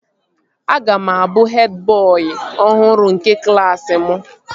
Aga m abụ hed bọị ọhụrụ nke klaasị mụ